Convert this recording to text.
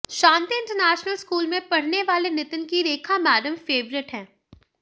शांति international school में पढ़ने वाले नितिन की रेखा मैडम फेवरिट हैं